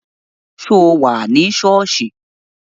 Ṣé o wà ní sọ́ọ̀sì?